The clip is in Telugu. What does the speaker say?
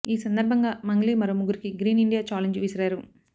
ఈ సందర్భంగా మంగ్లీ మరో ముగ్గురికి గ్రీన్ ఇండియా ఛాలెంజ్ విసిరారు